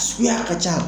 Suguya ka ca